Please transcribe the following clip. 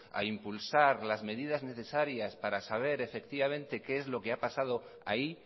a impulsar las medidas necesarias para saber qué es lo que ha pasado ahí